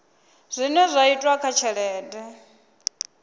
zwine zwa itwa kha tshelede